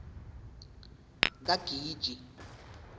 kagiji